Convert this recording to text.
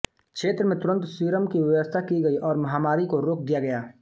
क्षेत्र में तुरंत सीरम की व्यवस्था की गई और महामारी को रोक दिया गया